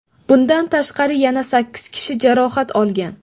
Bundan tashqari, yana sakkiz kishi jarohat olgan.